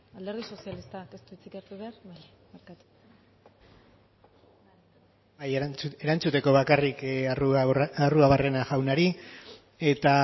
alderdi sozialistak ez du hitzik hartu behar bai barkatu bai erantzuteko bakarrik arruabarrena jaunari eta